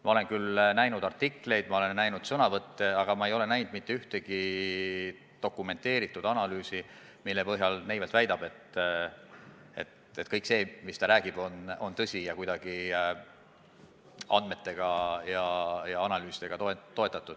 Ma olen küll näinud artikleid, ma olen näinud sõnavõtte, aga ma ei ole näinud mitte ühtegi dokumenteeritud analüüsi, mille põhjal Neivelt väidab, et kõik see, mis ta räägib, on tõsi ja kuidagi andmetega ja analüüsidega toetatud.